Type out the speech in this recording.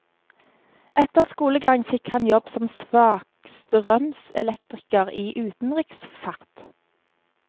Etter skolegang fikk han jobb som svakstrømselektriker i utenriksfart.